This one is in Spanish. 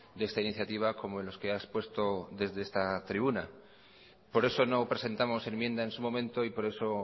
de esta iniciativa como en los que ha expuesto desde esta tribuna por eso no presentamos enmienda en su momento y por eso